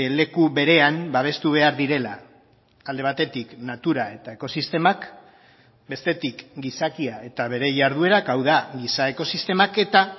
leku berean babestu behar direla alde batetik natura eta ekosistemak bestetik gizakia eta bere jarduerak hau da giza ekosistemak eta